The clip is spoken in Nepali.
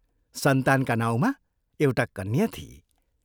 सन्तानका नाउँमा एउटा कन्या थिई।